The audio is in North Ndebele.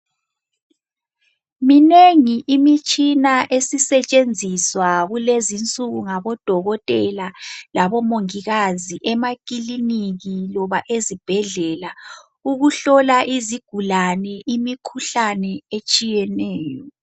Minengi imitshina esisetshenziswa kulezinsuku ngabodokotela labomongikazi emakiliniki loba ezibhedlela ukuhlola izigulane imikhuhlane etshiyeneyo.